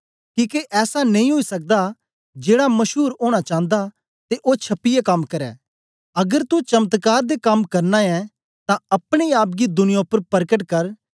किके ऐसा नेई ओई सकदा जेड़ा मशूर ओना चांदा ते ओ छपीयै कम्म करै अगर तू चमत्कार दे कम्म करना ऐ तां अपने आप गी दुनियां उपर परकट कर